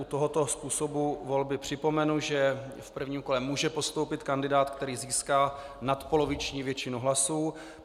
U tohoto způsobu volby připomenu, že v prvním kole může postoupit kandidát, který získá nadpoloviční většinu hlasů.